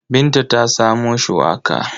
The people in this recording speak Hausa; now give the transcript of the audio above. Binta ta samo shuwaka.